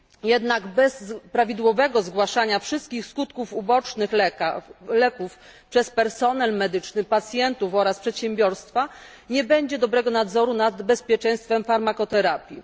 Jednak bez prawidłowego zgłaszania wszystkich skutków ubocznych leków przez personel medyczny, pacjentów oraz przedsiębiorstwa, nie będzie dobrego nadzoru nad bezpieczeństwem farmakoterapii.